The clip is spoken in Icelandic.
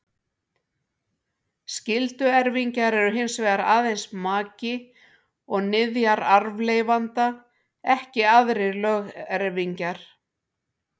Skylduerfingjar eru hins vegar aðeins maki og niðjar arfleifanda, ekki aðrir lögerfingjar.